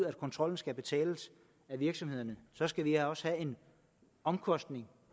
at kontrollen skal betales af virksomhederne skal vi også have en omkostning